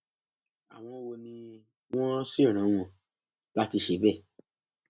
àwọn wo ni wọn sì rán wọn láti ṣe bẹẹ